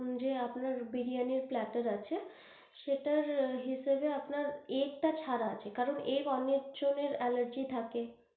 যে আপনার বিরিয়ানি plater আছে সেটার হিসাবে আপনার egg টা ছাড়া আছে, কারণ egg অনেক জনের allergy থাকে।